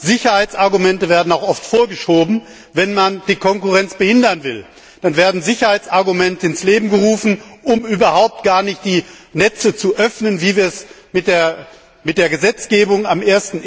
Sicherheitsargumente werden auch oft vorgeschoben, wenn man die Konkurrenz behindern will. Dann werden Sicherheitsargumente ins Leben gerufen, um die Netze überhaupt gar nicht zu öffnen, wie wir es mit der Gesetzgebung am